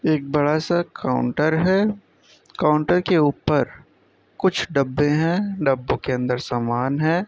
एक बडा सा काउंटर है। काउंटर के ऊपर कुछ डब्बे हैं। डब्बों के अन्दर सामान है।